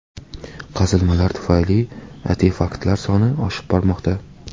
Qazilmalar tufayli artefaktlar soni oshib bormoqda.